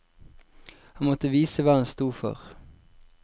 Han måtte vise hva han stod for.